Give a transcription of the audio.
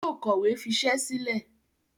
Yóò kọ̀wé fisẹ́ sílẹ̀.